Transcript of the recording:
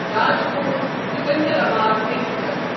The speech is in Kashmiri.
راجکوٹ سکندرآباد ایکسپریس